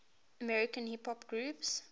american hip hop groups